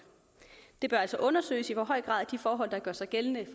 det bør altså undersøges i hvor høj grad de forhold der gør sig gældende